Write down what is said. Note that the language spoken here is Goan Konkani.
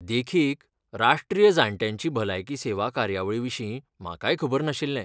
देखीक, राष्ट्रीय जाण्ट्यांची भलायकी सेवा कार्यावळीविशीं म्हाकाय खबर नाशिल्लें.